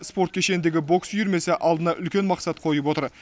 спорт кешеніндегі бокс үйірмесі алдына үлкен мақсат қойып отыр